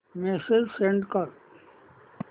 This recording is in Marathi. मेसेज सेंड कर